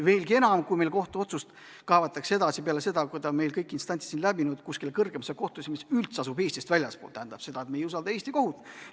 Veelgi enam, kui meil kohtuotsus kaevatakse peale seda, kui ta on meil kõik instantsid läbinud, kuskile kõrgemasse kohtusse, mis tegutseb Eestist väljaspool, siis tähendab see seda, et me ei usalda Eesti kohut.